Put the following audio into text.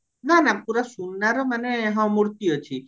ନାଁ ନାଁ ପୁରା ସୁନାର ମାନେ ହଁ ମୂର୍ତି ଅଛି